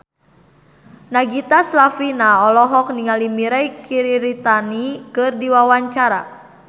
Nagita Slavina olohok ningali Mirei Kiritani keur diwawancara